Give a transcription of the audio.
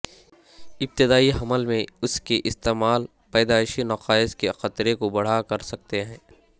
ابتدائی حمل میں اس کے استعمال پیدائشی نقائص کے خطرے کو بڑھا کر سکتے ہیں